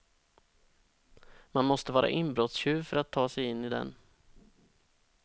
Man måste vara inbrottstjuv för att ta sig in i den.